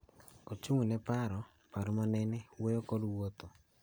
Ochung� ne paro, paro manene, wuoyo, kod wuotho.